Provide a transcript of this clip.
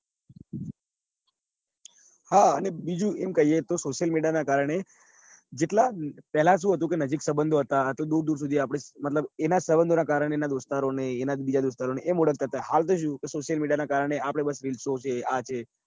હા અને બીજું એમ કહીએ તો social media ના કારણે જેટલા પેલા શું હતું કે નજીક સબંધો હતા તો દુર દુર સુધી આપડે મતલબ એના સબંધો ના કારણે એના દોસ્તારો ને એની બીજા દોસ્તારો એમ ઓળખાતા. હતા હાલ તો શું social media કારણે જે આપણે બસ reels ઓ છે આ છે.